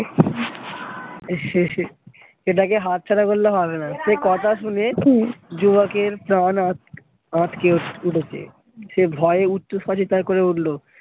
সেটাকে হাত ছাড়া করলে হবে না যুবকের প্রাণ আঁতকে উঠেছে সে ভয়ে উচ্চস্বরে চিৎকার করে উঠলো